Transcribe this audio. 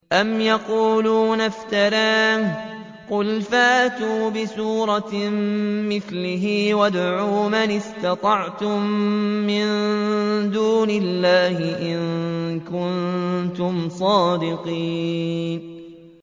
أَمْ يَقُولُونَ افْتَرَاهُ ۖ قُلْ فَأْتُوا بِسُورَةٍ مِّثْلِهِ وَادْعُوا مَنِ اسْتَطَعْتُم مِّن دُونِ اللَّهِ إِن كُنتُمْ صَادِقِينَ